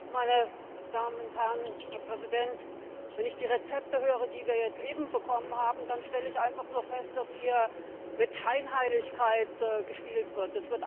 Herr Präsident, meine Damen und Herren! Wenn ich die Rezepte höre, die wir jetzt eben bekommen haben, dann stelle ich einfach nur fest, dass hier mit Scheinheiligkeit gespielt wird.